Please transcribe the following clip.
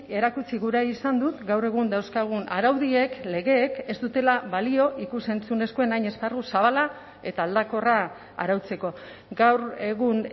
erakutsi gura izan dut gaur egun dauzkagun araudiek legeek ez dutela balio ikus entzunezkoen hain esparru zabala eta aldakorra arautzeko gaur egun